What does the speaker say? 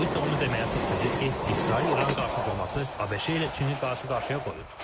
Bu isə onu deməyə əsas verir ki, İsrail-İran qarşıdurması ABŞ ilə Çini qarşı-qarşıya qoyur.